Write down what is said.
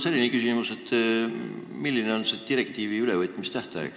Mul on küsimus, milline on selle direktiivi ülevõtmise tähtaeg.